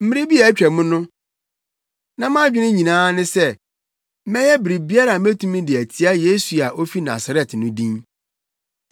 “Mmere bi a atwam no, na mʼadwene nyinaa ne sɛ mɛyɛ biribiara a metumi de atia Yesu a ofi Nasaret no din.